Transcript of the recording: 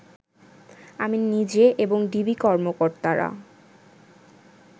আমি নিজে এবং ডিবি কর্মকর্তারা